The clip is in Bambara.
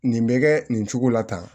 Nin bɛ kɛ nin cogo la tan